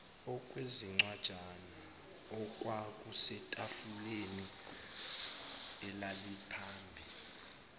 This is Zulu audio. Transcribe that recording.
okwezincwajana okwakusetafuleni elaliphambi